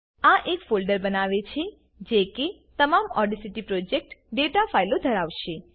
આ એક ફોલ્ડર બનાવે છે જે કે તમામ ઓડેસીટી પ્રોજેક્ટ ડેટા ફાઈલો ધરાવશે